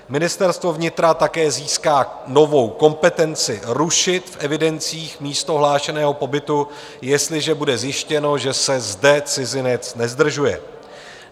Ministerstvo vnitra také získá novou kompetenci rušit v evidencích místo hlášeného pobytu, jestliže bude zjištěno, že se zde cizinec nezdržuje.